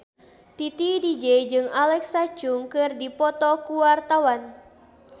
Titi DJ jeung Alexa Chung keur dipoto ku wartawan